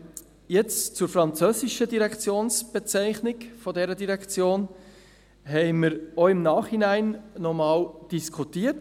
Über die französische Direktionsbezeichnung haben wir im Nachhinein nochmals diskutiert.